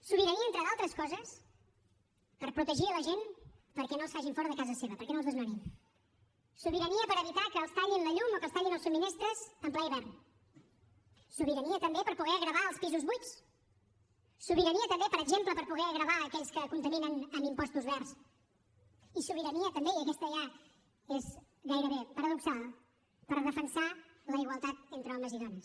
sobirania entre d’altres coses per protegir la gent perquè no els facin fora de casa seva perquè no els desnonin sobirania per evitar que els tallin la llum o que els tallin els subministraments en ple hivern sobirania també per poder gravar els pisos buits sobirania també per exemple per poder gravar aquells que contaminen amb impostos verds i sobirania també i aquesta ja és gairebé paradoxal per defensar la igualtat entre homes i dones